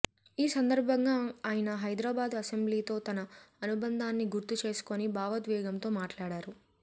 ఈ సందర్భంగా ఆయన హైదరాబాదు అసెంబ్లీతో తన అనుబంధాన్ని గుర్తు చేసుకొని భావోద్వేగంతో మాట్లాడారు